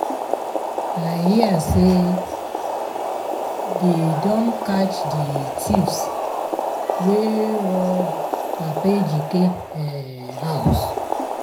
i hear say um dey don catch the thieves wey rob papa ejike um house.